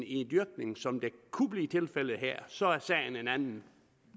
en dyrkning som kunne blive tilfældet her så er sagen en anden